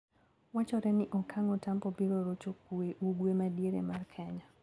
Wachore ni okang Otampo biro rocho kwee ugwe madiere mar Kenya.